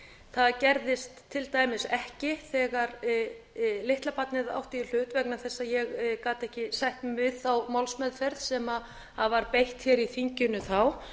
það gerðist til dæmis ekki þegar litla barnið átti í hlut vegna þess að ég gat ekki sætt mig við þá málsmeðferð sem var beitt hér í þinginu þá